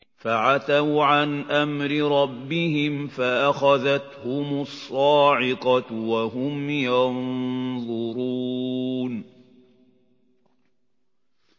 فَعَتَوْا عَنْ أَمْرِ رَبِّهِمْ فَأَخَذَتْهُمُ الصَّاعِقَةُ وَهُمْ يَنظُرُونَ